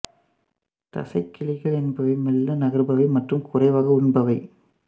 தச்சைக் கிளிகள் என்பவை மெள்ள நகர்பவை மற்றும் குறைவாக உண்பவை